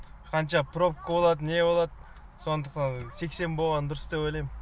қанша пробка болады не болады сондықтан сексен болған дұрыс деп ойлайм